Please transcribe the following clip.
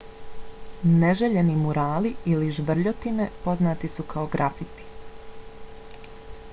neželjeni murali ili žvrljotine poznati su kao grafiti